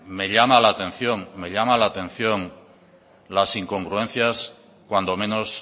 me llama la atención me llama la atención las incongruencias cuando menos